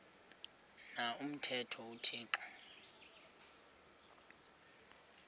na umthetho uthixo